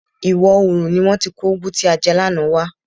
Ìwọ oòrùn ni wọ́n ti kó ugwu tí a jẹ lánàá wá.